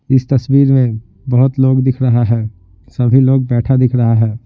इस तस्वीर में बहुत लोग दिख रहा है सभी लोग बैठा दिख रहा है।